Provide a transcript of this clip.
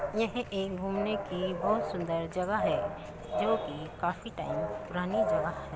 यह एक घूमने की बोहोत सुंदर जगह है जोकि काफी टाइम पुरानी जगह ह --